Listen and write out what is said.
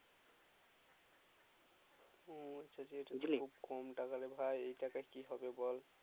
হম আচ্ছা এই তো যে খুব কম টাকারে ভাই এই টাকায় কি হবে বল